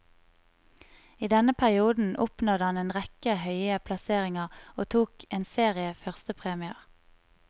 I denne perioden oppnådde han en rekke høye plasseringer og tok en serie førstepremier.